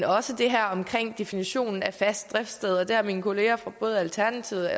også det her om definitionen af fast driftssted det har mine kolleger fra både alternativet